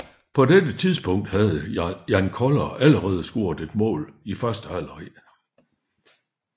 På dette tidspunkt havde Jan Koller allerede scoret et mål i første halvleg